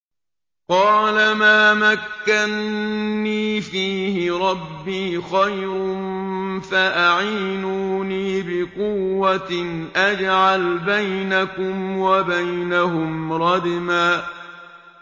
قَالَ مَا مَكَّنِّي فِيهِ رَبِّي خَيْرٌ فَأَعِينُونِي بِقُوَّةٍ أَجْعَلْ بَيْنَكُمْ وَبَيْنَهُمْ رَدْمًا